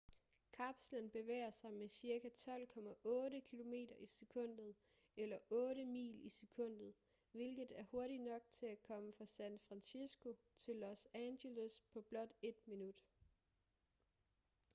kapslen bevæger sig med cirka 12,8 km i sekundet eller 8 mil i sekundet hvilket er hurtigt nok til at komme fra san francisco til los angeles på blot ét minut